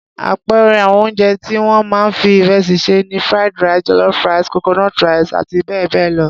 Àpẹẹrẹ àwọn oúnjẹ tí wọ́n máa ń fi ìrẹsì sè ni Fried rice, jollof rice, coconut rice àti bẹ́ẹ̀ bẹ́ẹ̀ lọ.